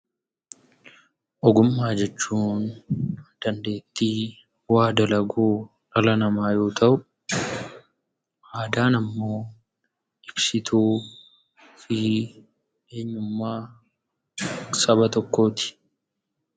Ogummaa jechuun dandeettii bu'aa dalaguu dhala namaa yoo ta'u, aadaan immoo ibsituu eenyummaa Saba tokkooti.